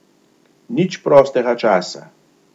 Nič prostega časa.